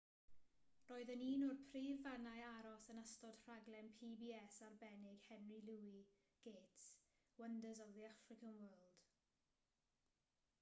roedd yn un o'r prif fannau aros yn ystod rhaglen pbs arbennig henry louis gates wonders of the african world